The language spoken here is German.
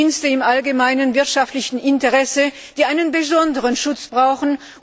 die Dienste im allgemeinen wirtschaftlichen Interesse, die einen besonderen Schutz brauchen.